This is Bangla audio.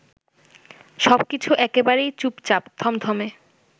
সবকিছু একেবারেই চুপচাপ, থমথমে